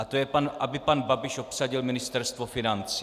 A to je, aby pan Babiš obsadil Ministerstvo financí.